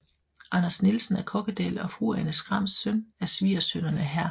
Anders Nielsen af Kokkedal og fru Anne Skrams samt af svigersønnerne hr